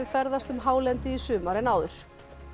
ferðast um hálendið í sumar en áður